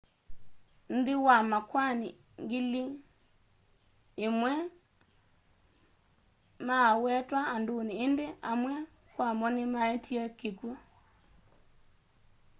nthĩ wa makwani ngili ĩmwe ma'awetwa andunĩ ĩndĩ amwe kwamo nĩ maetie kĩkw'ũ